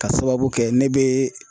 K'a sababu kɛ ne bɛ